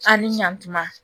A ni ɲantuma